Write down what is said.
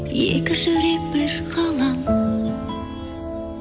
екі жүрек бір ғалам